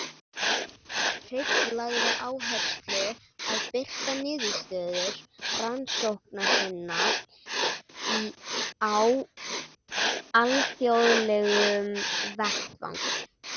Hreinn lagði áherslu að birta niðurstöður rannsókna sinna á alþjóðlegum vettvangi.